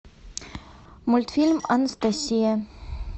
мультфильм анастасия